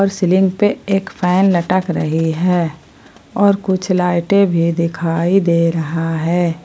और सीलिंग पे एक फैन लटक रही है और कुछ लाइटे भी दिखाई दे रहा है।